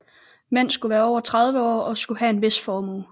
Mænd skulle være over 30 år og skulle have en vis formue